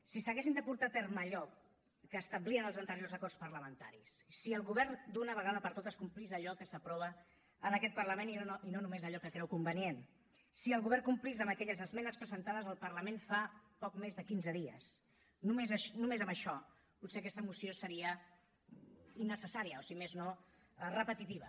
si s’haguessin de portar a terme allò que establien els anteriors acords parlamentaris si el govern d’una vegada per totes complís allò que s’aprova en aquest parlament i no només allò que creu convenient si el govern complís amb aquelles esmenes presentades al parlament fa poc més de quinze dies només amb això potser aquesta moció seria innecessària o si més no repetitiva